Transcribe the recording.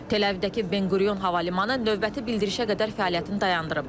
Tel-Əvivdəki Ben Quriyon Hava Limanı növbəti bildirişə qədər fəaliyyətini dayandırıb.